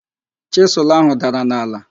Chịsụlụ áhụ̀ dara n'ala.